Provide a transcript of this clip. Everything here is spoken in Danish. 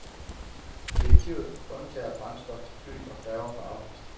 Direktivet undtager brændstof til fly og færger for afgift.